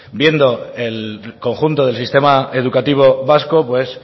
viendo el conjunto del sistema educativo vasco pues